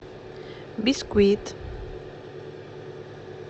бисквит